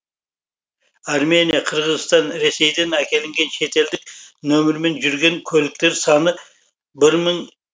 армения қырғызстан ресейден әкелінген шетелдік нөмірмен жүрген көліктер саны бір мың